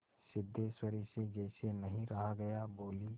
सिद्धेश्वरी से जैसे नहीं रहा गया बोली